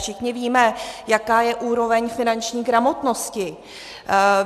Všichni víme, jaká je úroveň finanční gramotnosti.